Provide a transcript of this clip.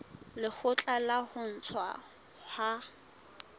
lekgotla la ho ntshuwa ha